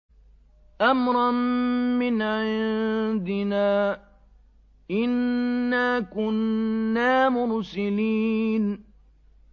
أَمْرًا مِّنْ عِندِنَا ۚ إِنَّا كُنَّا مُرْسِلِينَ